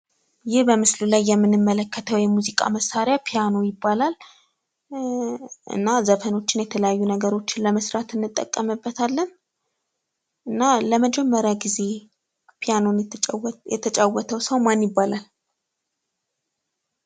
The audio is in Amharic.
ይህ በምስሉ ላይ የምንመለከተዉ የሙዚቃ መሳሪያ ፒያኖ ይባላል። እና ዘፈኖችን እና የተለያዩ ነገሮችን ለመስራት እንጠቀምበታለን። እና ለመጀመሪያ ጊዜ ፒያኖን የተጫወተዉ ሰዉ ማን ይባላል?